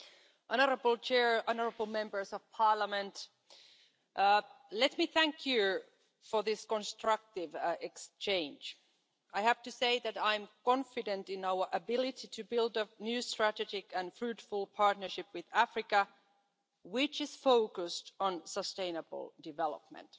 Madam President, honourable Members, let me thank you for this constructive exchange. I have to say that I'm confident in our ability to build a new strategic and fruitful partnership with Africa which is focused on sustainable development.